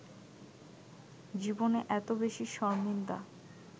জীবনে এত বেশি শরমিন্দা